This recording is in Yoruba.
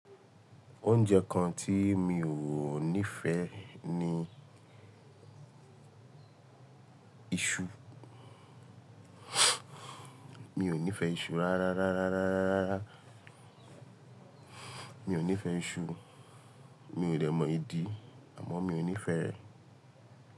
Oúnjẹ kan tí mi ò nífeẹ́ ni iṣu. Mi ò nífẹe iṣu rárá, rárá, rárá, rárá, rárá. Mi ò ní fẹ iṣu. Mi ò dẹ̀ mọ ìdí àmọ́ mi ò nífẹẹ.